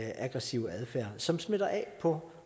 aggressive adfærd som smitter af på